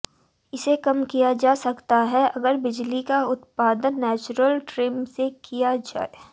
इसे कम किया जा सकता है अगर बिजली का उत्पादन नेचुरल ट्रिम से किया जाए